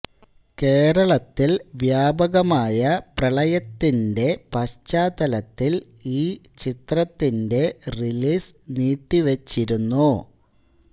കേരളത്തിൽ വ്യാപകമായ പ്രളയത്തിൻറ്റെ പശ്ചാത്തലത്തിൽ ഈ ചിത്രത്തിന്റെ റിലീസ് നീട്ടിവച്ചിരുന്നു